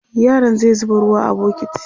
yaron zai zuba ruwa a bukiti